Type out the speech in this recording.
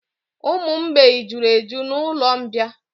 Ụmụ mgbei juru eju na'ụlọ mbịà